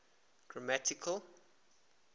grammatical